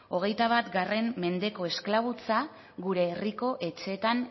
hogeita bat mendeko esklabutza gure herriko etxeetan